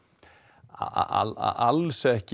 alls ekki